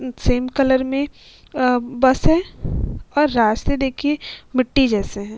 Same colour में अ bus है और रास्ते देखिये मिट्टी जैसे हैं।